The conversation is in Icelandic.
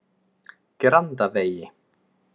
Grandavegi